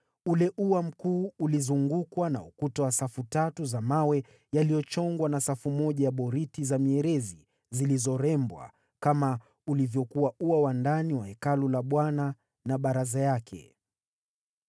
Ule ua mkuu ulizungukwa na ukuta wa safu tatu za mawe yaliyochongwa na safu moja ya boriti za mierezi zilizorembwa, kama ulivyokuwa ua wa ndani wa Hekalu la Bwana na baraza yake.